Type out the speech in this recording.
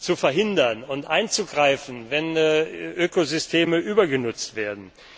zu verhindern und einzugreifen, wenn Ökosysteme übergenutzt werden.